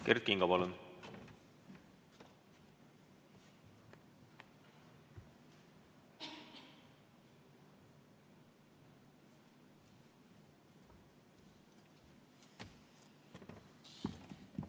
Kert Kingo, palun!